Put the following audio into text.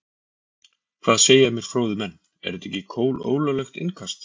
Hvað segja mér fróðir menn, er þetta ekki kolólöglegt innkast?